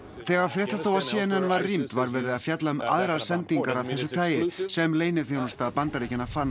þegar fréttastofa c n n var rýmd var verið að fjalla um aðrar sendingar af þessu tagi sem leyniþjónusta Bandaríkjanna fann